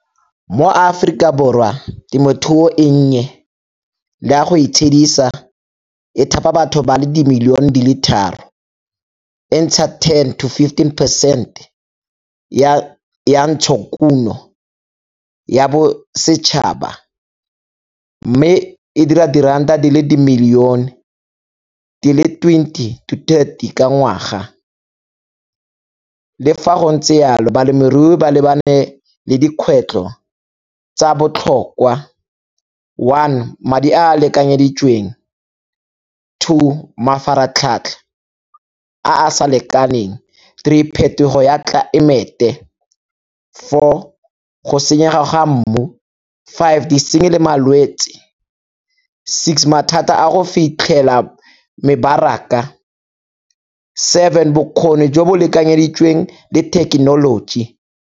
Mo Aforika Borwa temothuo e nnye le ya go itshedisa e thapa batho ba le dimilione di le tharo, e ntsha ten to fifteen percent ya ntshokuno ya bosetšhaba. Mme e dira diranta di le dimilione di le twenty to thirty ka ngwaga. Le fa go ntse yalo balemirui ba lebane le dikgwetlho tsa botlhokwa, one madi a a lekanyeditsweng, two mafaratlhatlha a a sa lekaneng, three phetogo ya tlelaemete, four go senyega ga mmu, five disenyi le malwetsi, six mathata a go fitlhela mebaraka, seven bokgoni jo bo lekanyeditsweng le thekenoloji.